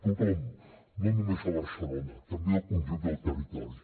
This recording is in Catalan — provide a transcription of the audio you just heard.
tothom no només a barcelona també al conjunt del territori